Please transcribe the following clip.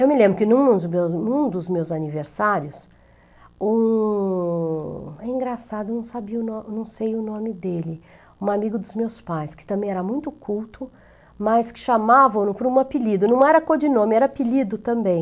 Eu me lembro que em um dos meus em um dos meus aniversários, um... é engraçado, eu não sabia o no, eu não sei o nome dele, um amigo dos meus pais, que também era muito culto, mas que chamavam-no por um apelido, não era codinome, era apelido também.